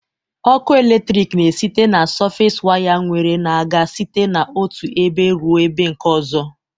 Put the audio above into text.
Ọkụ eletrik na esite na sọfes waya nwere na-aga site n'otụ ebe rụọ ebe nke ọzọ